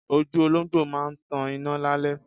Ojú olóńgbò máa ń tan iná lálẹ́.